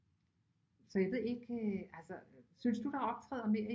Så jeg ved ikke altså synes du der optræder mere